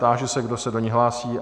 Táži se, kdo se do ní hlásí?